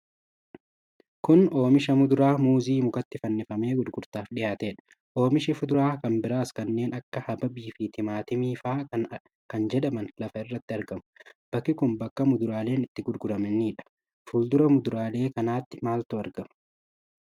Kun oomisha muduraa muuzii mukatti fannifamee gurgurtaaf dhiyaatedha. Oomishi fuduraa kan biraas kanneen akka habaabii fi timaatimii faa kan jedhaman lafa irratti argamu. Bakki kun bakka muduraaleen itti gurguramanidha. Fuuldura muduraalee kanaatti maaltu argama?